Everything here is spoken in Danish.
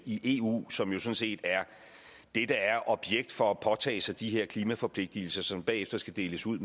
i eu som jo sådan set er det der er objekt for at påtage sig de her klimaforpligtelser som bagefter skal deles ud